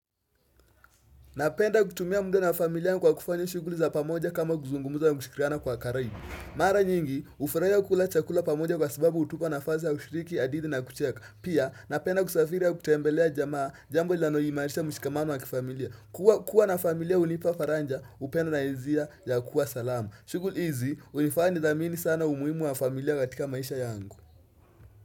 Napenda kutumia mda na familia kwa kufanya shuguli za pamoja kama kuzungumza na kushikiriana kwa ukarimu. Mara nyingi, hufurahia kula chakula pamoja kwa sababu hutupa nafasi ya kushiriki, hadithi na kucheka. Pia, napenda kusafiri na kutembelea jamaa jambo lilano imarisha mshikamano wa kifamilia. Kua na familia hunipa faraja, upenda na hisia ya kuwa salama. Shuguli hizi, hinifanya nidhamini sana umuhimu wa familia katika maisha yangu.